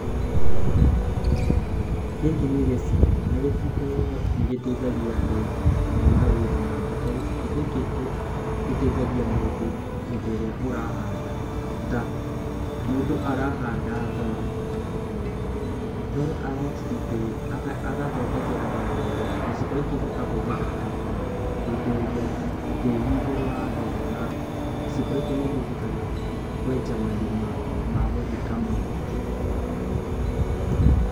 Gĩkĩ nĩ gĩciko, na gĩciko nĩ gĩteithagia andũ he mawĩra maingĩ, ta gĩciko gĩkĩ gĩtheithagia mũndũ hĩndĩ ĩrĩa ũrahanda ta, mũndũ arahanda thoro, thoro agathondekera wega, gĩciko gĩkĩ gĩkahũthĩka ta gũitĩrĩria tĩĩri igũrũ wa thoro. O na gĩciko gĩkĩ nĩ kĩhũthĩkaga kwenja marima ma gũthika mahuti.